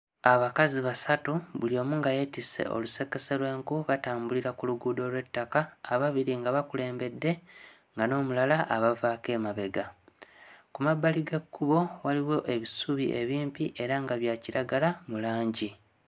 Abakazi basatu, buli omu nga yeetisse olusekese lw'enku batambulira ku luguudo lw'ettaka; ababiri nga bakulembedde, nga n'omulala abavaako emabega. Ku mabbali g'ekkubo waliwo ebisubi ebimpi era nga bya kiragala mu langi.